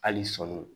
Hali sɔɔni